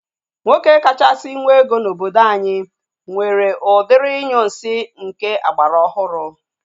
Nwoke kachasị nwe ego n'obodo anyị nwere udiri ụlọ inyunsi nke agbara ọhụrụ